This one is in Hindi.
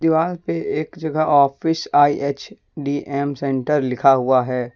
एक जगह ऑफिस आई_एच_डी_एम सेंटर लिखा हुआ है।